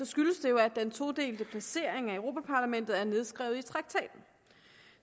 skyldes det jo at den todelte placering af europa parlamentet er nedskrevet i traktaten